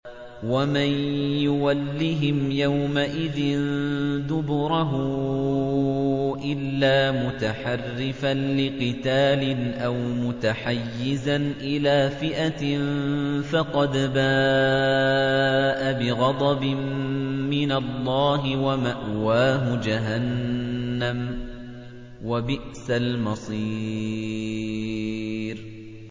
وَمَن يُوَلِّهِمْ يَوْمَئِذٍ دُبُرَهُ إِلَّا مُتَحَرِّفًا لِّقِتَالٍ أَوْ مُتَحَيِّزًا إِلَىٰ فِئَةٍ فَقَدْ بَاءَ بِغَضَبٍ مِّنَ اللَّهِ وَمَأْوَاهُ جَهَنَّمُ ۖ وَبِئْسَ الْمَصِيرُ